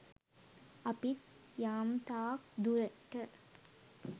අපිත් යම්තාක් දුරට